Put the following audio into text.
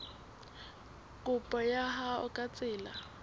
kopo ya hao ka tsela